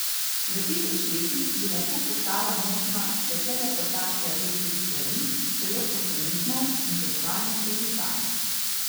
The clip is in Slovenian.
V tisoč letih bi lahko postala možna še teleportacija večjih stvari, celo organizmov, in potovanje skozi čas.